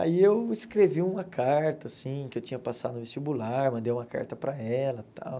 Aí eu escrevi uma carta, assim, que eu tinha passado no vestibular, mandei uma carta para ela e tal.